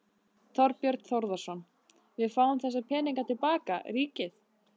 Þorbjörn Þórðarson: Við fáum þessa peninga til baka, ríkið?